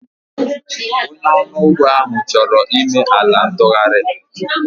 Onye ọrụ ugbo ahụ chọrọ ime ala ntụgharị